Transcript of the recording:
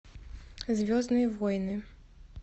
звездные войны